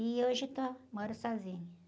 E hoje estou, moro sozinha.